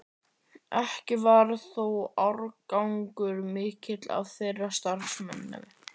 Ekki varð þó árangur mikill af þeirri starfsemi.